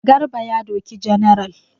Garba ya doki general.